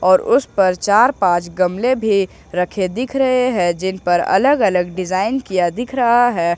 और उस पर चार-पांच गमले भी रखे दिख रहे हैं जिन पर अलग-अलग डिजाइन किया दिख रहा है।